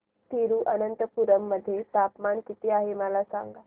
तिरूअनंतपुरम मध्ये तापमान किती आहे मला सांगा